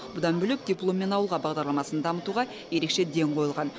бұдан бөлек дипломмен ауылға бағдарламасын дамытуға ерекше ден қойылған